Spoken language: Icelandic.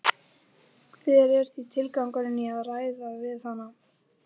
Hver er því tilgangurinn í að ræða við hann?